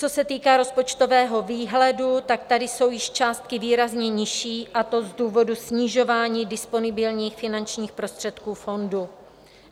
Co se týká rozpočtového výhledu, tak tady jsou již částky výrazně nižší, a to z důvodu snižování disponibilních finančních prostředků fondu.